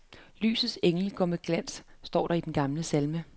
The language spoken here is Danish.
Lysets engel går med glans, står der i den gamle salme.